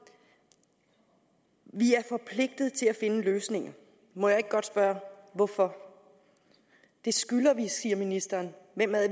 at vi er forpligtet til at finde løsninger må jeg ikke godt spørge hvorfor det skylder vi siger ministeren hvem